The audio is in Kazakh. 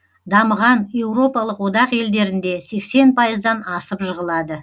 дамыған еуропалық одақ елдерінде сексен пайыздан асып жығылады